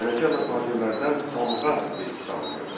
Tənəkəl və tacirlərdən tamğa vergisi alınırdı.